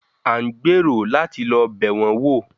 A ń gbèrò láti lọ́ bẹ̀ wọn wò.